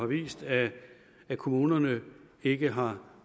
vist at kommunerne ikke har